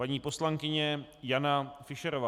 Paní poslankyně Jana Fischerová.